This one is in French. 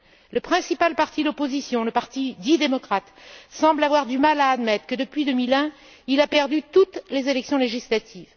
Le principal parti d'opposition, le parti dit démocrate, semble avoir du mal à admettre que depuis 2001, il a perdu toutes les élections législatives.